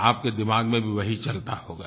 तो आपके दिमाग में भी वही चलता होगा